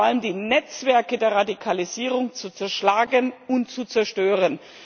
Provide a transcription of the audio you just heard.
vor allem, die Netzwerke der Radikalisierung zu zerschlagen und zu zerstören.